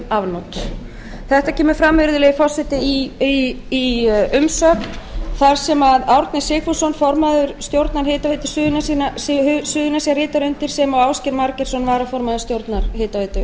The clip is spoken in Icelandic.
afnot þetta kemur fram virðulegi forseti í umsögn þar sem árni sigfússon formaður stjórnar hitaveitu suðurnesja ritar undir sem og ásgeir margeirsson varaformaður stjórnar hitaveitu